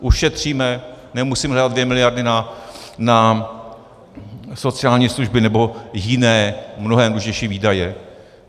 Ušetříme, nemusíme dát dvě miliardy na sociální služby nebo jiné, mnohem důležitější výdaje.